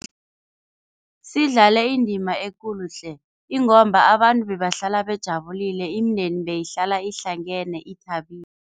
Sidlale indima ekulu tle ingomba abantu bebahlala bajabulile, imindeni beyihlala ihlangene ithabile.